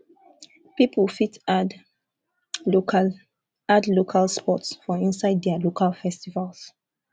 pipo fit add local add local sports for inside their local festivals